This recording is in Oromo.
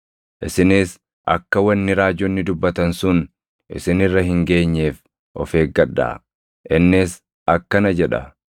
Isinis akka wanni raajonni dubbatan sun isin irra hin geenyeef of eeggadhaa; innis akkana jedha: